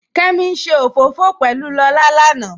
Kẹ́mí n ṣẹ ofọfọ̀ pẹ̀lú Lọlá lánà